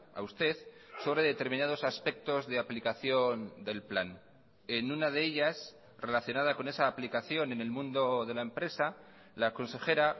a usted sobre determinados aspectos de aplicación del plan en una de ellas relacionada con esa aplicación en el mundo de la empresa la consejera